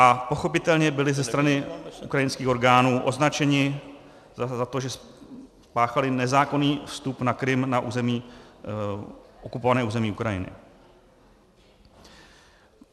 A pochopitelně byli ze strany ukrajinských orgánů označeni za to, že spáchali nezákonný vstup na Krym na okupované území Ukrajiny.